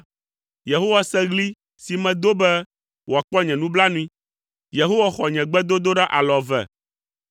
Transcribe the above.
Yehowa se ɣli si medo be wòakpɔ nye nublanui; Yehowa xɔ nye gbedodoɖa alɔ eve.